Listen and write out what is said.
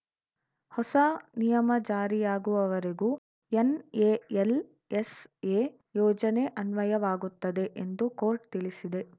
ಹೊಸ ನಿಯಮ ಜಾರಿಯಾಗುವವರೆಗೂ ಎನ್‌ಎಎಲ್‌ಎಸ್‌ಎ ಯೋಜನೆ ಅನ್ವಯವಾಗುತ್ತದೆ ಎಂದು ಕೋರ್ಟ್‌ ತಿಳಿಸಿದೆ